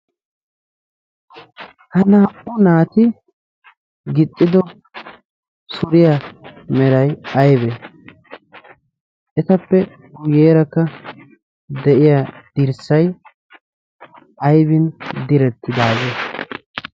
ha naa77u naati gixxido suriya merai aibe? etappe uyeerakka de7iya dirssai aibin direttidaagee?